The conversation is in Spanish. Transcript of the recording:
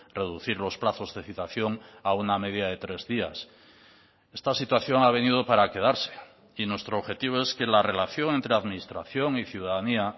reducir los plazos de citación a una media de tres días esta situación ha venido para quedarse y nuestro objetivo es que la relación entre administración y ciudadanía